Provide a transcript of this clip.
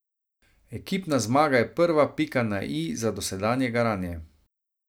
Ekipna zmaga je prva pika na i za dosedanje garanje.